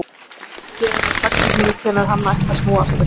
Ekki hefur verið gefin upp dagsetning hvenær hann ætti að snúa aftur.